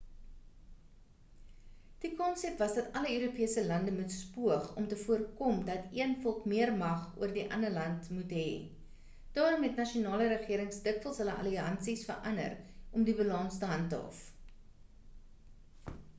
die konsep was dat alle europese lande moes poog om te voorkom dat een volk meer mag oor die ander moet het daarom het nasionale regerings dikwels hul alliansies verander om die balans te handhaaf